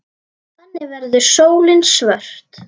Þannig verður sólin svört.